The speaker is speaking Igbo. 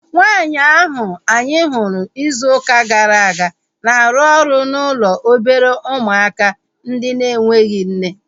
Nwaanyi ahu anyị hụrụ izu ụka gara aga na-arụ ọrụ n'ụlọ obere ụmụaka ndị enweghị nne